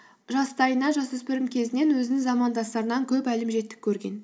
жастайынан жас өспірім кезінен өзінің замандастарынан көп әлімжеттік көрген